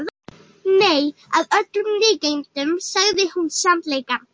Nei, að öllum líkindum sagði hún sannleikann.